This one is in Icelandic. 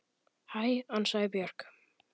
Hæ, ansaði Björg.